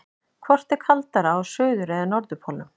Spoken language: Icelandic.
Hvort er kaldara á suður- eða norðurpólnum?